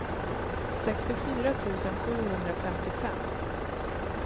sextiofyra tusen sjuhundrafemtiofem